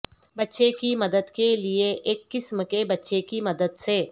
بچے کی مدد کے لئے ایک قسم کے بچے کی مدد سے